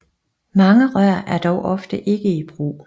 Mange rør er dog ofte ikke i brug